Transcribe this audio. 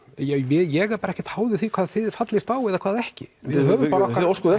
ég er bara ekkert háður því hvað þið fallist á og hvað ekki við höfum bara